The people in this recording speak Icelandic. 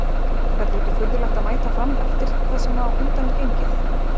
Verður ekki furðulegt að mæta Fram eftir það sem á undan er gengið?